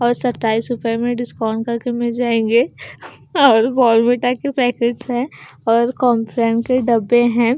और सत्ताईस रुपए में डिस्काउंट कर के मिल जाएंगे और बॉर्नविटा के पैकेट्स हैं और कॉमट्रेन के डब्बे हैं।